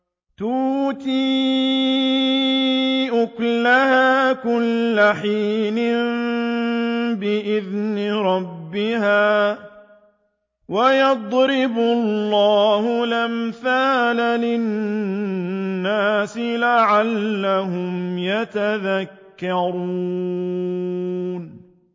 تُؤْتِي أُكُلَهَا كُلَّ حِينٍ بِإِذْنِ رَبِّهَا ۗ وَيَضْرِبُ اللَّهُ الْأَمْثَالَ لِلنَّاسِ لَعَلَّهُمْ يَتَذَكَّرُونَ